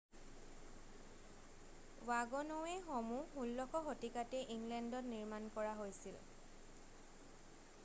ৱাগ'নৱে'সমূহ 16 শতিকাতেই ইংলেণ্ডত নিৰ্মাণ কৰা হৈছিল